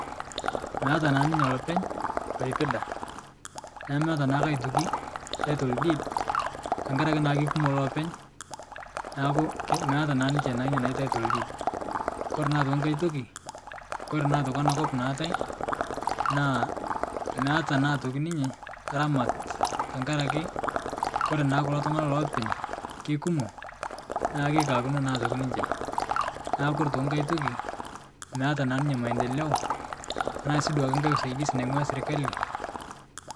Meata naa ninye lopeny loipida nemeata naa aitoki title deed tankaraki keikumo lopeny naaku meeta naa ninche nia naji title deed Kore naa aitoki nkae toki kore ana kop naatae naa meata aitoki ninye ramat tankaraki kore naa kulo ltungana lopeny keikumo naaku keikakuno aitoki ninche naaku kore aitoki nkae toki meeta naa ninye mandeleo tanaasi nkae usaidisi nangua serikali.